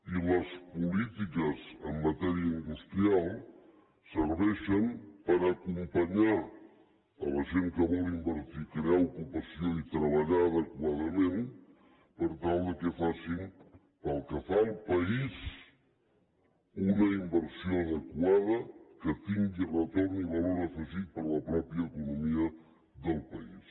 i les polítiques en matèria industrial serveixen per acompanyar la gent que vol invertir crear ocupació i treballar adequadament per tal que facin pel que fa al país una inversió adequada que tingui retorn i valor afegit per a la pròpia economia del país